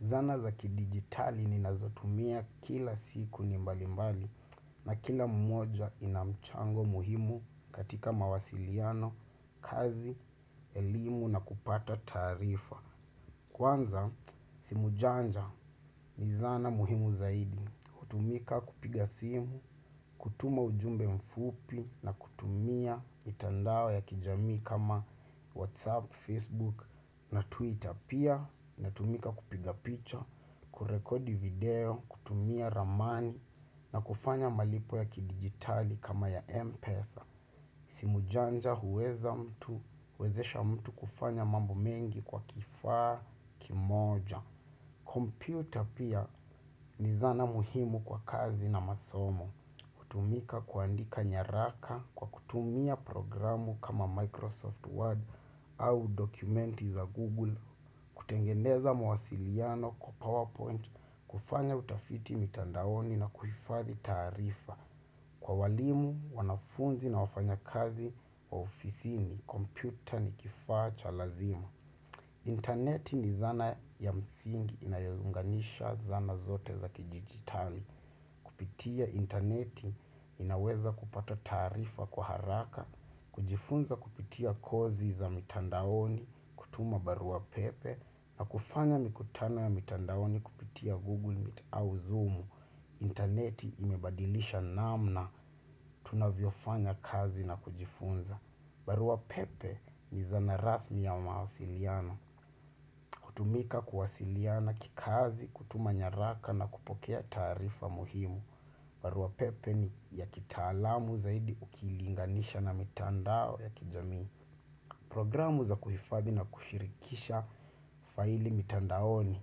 Zana za ki digitali ni nazotumia kila siku ni mbali mbali na kila mmoja inamchango muhimu katika mawasiliano, kazi, elimu na kupata tarifa. Kwanza, simujanja ni zana muhimu zaidi. Kutumika kupiga simu, kutuma ujumbe mfupi na kutumia mitandao ya kijami kama WhatsApp, Facebook na Twitter. Pia, natumika kupiga picha, kurekodi video, kutumia ramani na kufanya malipo ya kidigitali kama ya Mpesa. Simujanja huweza mtu, huwezesha mtu kufanya mambo mengi kwa kifaa kimoja. Computer pia ni zana muhimu kwa kazi na masomo. Kutumika kuandika nyaraka kwa kutumia programu kama Microsoft Word au dokumenti za Google. Kutengeneza mwasiliano kwa PowerPoint kufanya utafiti mitandaoni na kufathi tarifa. Kwa walimu, wanafunzi na wafanya kazi wa ofisi ni kompyuta ni kifa cha lazima. Internet ni zana ya msingi inayo unganisha zana zote za kidijitali. Pia interneti inaweza kupata tarifa kwa haraka, kujifunza kupitia kozi za mitandaoni, kutuma barua pepe, na kufanya mikutano ya mitandaoni kupitia Google Meet au Zoom. Interneti imebadilisha namna tunavyo fanya kazi na kujifunza barua pepe ni zana rasmi ya mawasiliana kutumika kuwasiliana kikazi, kutuma nyaraka na kupokea tarifa muhimu barua pepe ni ya kitaalamu zaidi ukilinganisha na mitandao ya kijamii Programu za kuhifathi na kushirikisha faili mitandaoni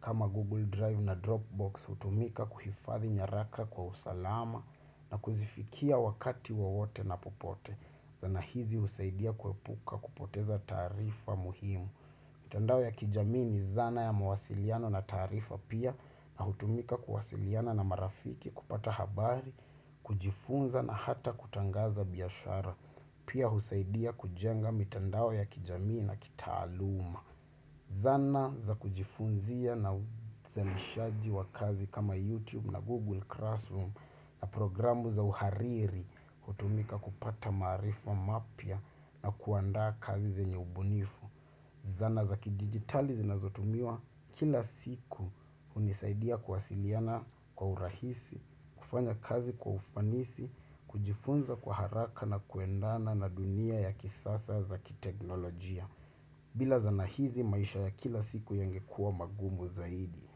kama Google Drive na Dropbox hutumika kuhifathi nyaraka kwa usalama na kuzifikia wakati wawote na popote. Zana hizi usaidia kuepuka kupoteza tarifa muhimu. Mitandao ya kijamii ni zana ya mawasiliano na tarifa pia na hutumika kuwasiliana na marafiki kupata habari, kujifunza na hata kutangaza biashara. Pia husaidia kujenga mitandao ya kijamii na kitaaluma. Zana za kujifunzia na zanishaji wa kazi kama YouTube na Google Classroom na programu za uhariri kutumika kupata marifa mapya na kuanda kazi zenye ubunifu. Zana za kijijitali zinazotumiwa kila siku unisaidia kwasiliana kwa urahisi, kufanya kazi kwa ufanisi, kujifunza kwa haraka na kuendana na dunia ya kisasa za kiteknolojia. Bila zanahizi maisha ya kila siku yenge kuwa magumu zaidi.